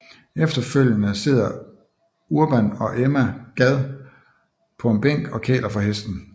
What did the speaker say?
Efterfølgende sidder Urban og Emma Gad på en bænk og kæler for hesten